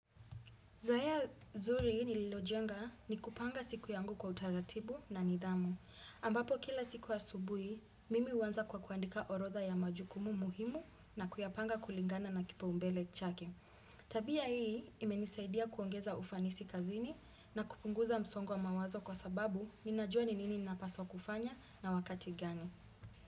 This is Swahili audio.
Zoea nzuri nililojenga ni kupanga siku yangu kwa utaratibu na nidhamu. Ambapo kila siku asubui, mimi huanza kwa kuandika orodha ya majukumu muhimu na kuyapanga kulingana na kipaumbele chake. Tabia hii imenisaidia kuongeza ufanisi kazini na kupunguza msongo wa mawazo kwa sababu ninajua ni nini napaswa kufanya na wakati gani.